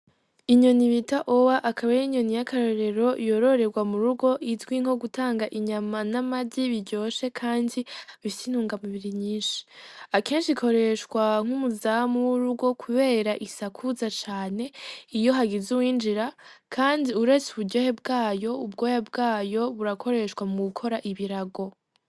Inyoni bita owa akabaya inyoni y'akarorero yororerwa mu rugo izwi nko gutanga inyama n'amadyi biryoshe, kandi b ise inunga mibiri nyinshi akenshi ikoreshwa nk'umuzamu w'urugo, kubera isakuza cane iyo hagize uwinjira, kandi uretse uburyohe bwayo ubwoya bwayo buraw koreshwa muukora ibirago.